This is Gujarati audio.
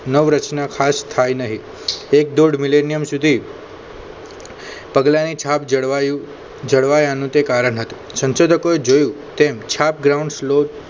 નવરચના ખાસ થાય નહીં એક દોઢ મિલેનિયમ સુધી પગલાની છાપ જળવાયું જળવાઈ તે કારણ હતું સંશોધકોએ જોયું તેમ છાપ ગ્રાઉન્ડ શ્લોક